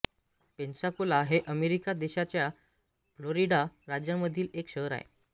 Pensacola हे America देशाच्या Florida राज्यामधील एक शहर आहे